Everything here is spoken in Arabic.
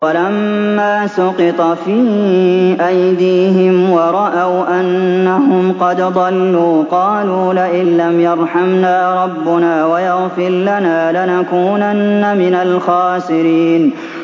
وَلَمَّا سُقِطَ فِي أَيْدِيهِمْ وَرَأَوْا أَنَّهُمْ قَدْ ضَلُّوا قَالُوا لَئِن لَّمْ يَرْحَمْنَا رَبُّنَا وَيَغْفِرْ لَنَا لَنَكُونَنَّ مِنَ الْخَاسِرِينَ